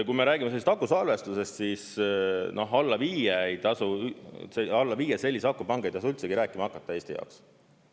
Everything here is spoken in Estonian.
Kui me räägime sellisest akusalvestustest, siis alla viie sellise akupanga ei tasu üldse rääkima hakata Eesti jaoks.